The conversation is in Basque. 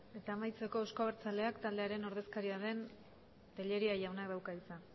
eta amaitzeko euzko abertzaleak taldearen ordezkaria den tellería jaunak dauka hitza